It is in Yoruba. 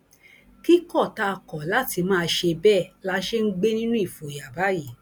kíkọ tá a kọ láti máa ṣe bẹẹ la ṣe ń gbé nínú ìfòyà báyìí